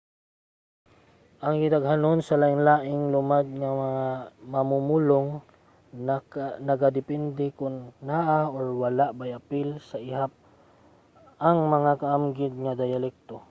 ang gidaghanon sa lain-laing lumad nga mamumulong nagadepende kon naa or wala bay apil sa ihap ang mga kaamgid nga diyalekto